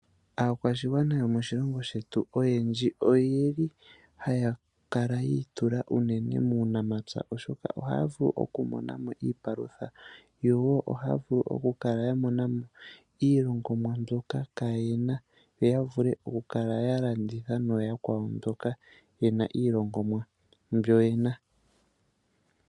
Aakwashigwana yomoshilongo shetu oyeli haya kala yiitula unene muunamapya oshoka ohaya vulu okumonamo iipalutha yo ohaya vulu okumonamo iilongomwa mboka kayena yo yavule okukala yalanditha nooyakwawo mboka yena iilongomwa mbo yena.